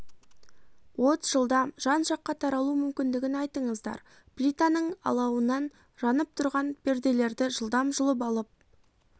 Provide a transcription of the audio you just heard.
от жылдам жан жаққа таралу мүмкіндігін айтыңыздар плитаның алауынан жанып жатқан перделерді жылдам жұлып алып